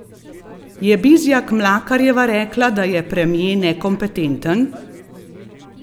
Je Bizjak Mlakarjeva rekla, da je premier nekompetenten?